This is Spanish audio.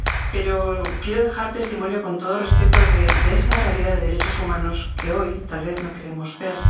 Pero quiero dejar testimonio, con todo respeto, de esa realidad de derechos humanos que hoy tal vez no queremos ver.